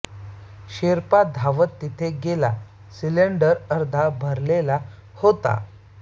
शेर्पा धावत तिथे गेला सिलेंडर अर्धा भरलेला होता